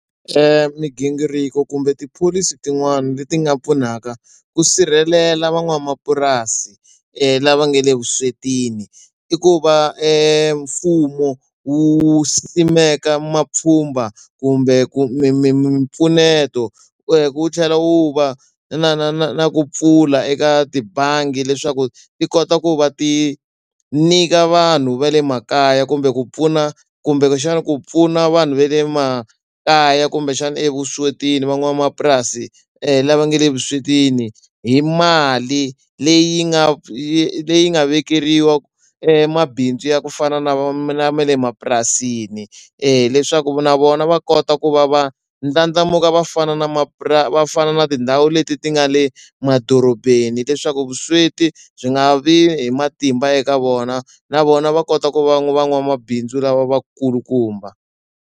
Migingiriko kumbe tipholisi tin'wana leti nga pfunaka ku sirhelela van'wamapurasi lava nga le vuswetini i ku va mfumo wu simeka mapfhumba kumbe ku mi mi mimpfuneto wu tlhela wu va na na na na ku pfula eka tibangi leswaku ti kota ku va ti nyika vanhu va le makaya kumbe ku pfuna kumbexana ku pfuna vanhu va le makaya kumbexana evuswetini van'wamapurasi lava nge le vuswetini hi mali leyi nga yi leyi nga vekeriwa mabindzu ya ku fana na ma le mapurasini leswaku na vona va kota ku va va ndlandlamuka va fana na va fana na tindhawu leti ti nga le madorobeni leswaku vusweti byi nga vi hi matimba eka vona na vona va kota ku va na van'wamabindzu lava va kulukumba.